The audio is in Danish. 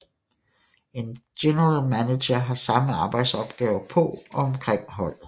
En General Manager har mange arbejdsopgaver på og omkring holdet